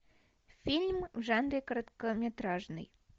фильм в жанре короткометражный